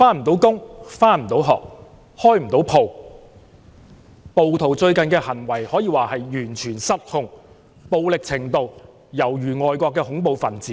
暴徒最近的行為可說是完全失控，暴力程度猶如外國的恐怖分子。